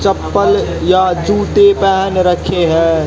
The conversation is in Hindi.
चप्पल या जूते पहन रखे हैं।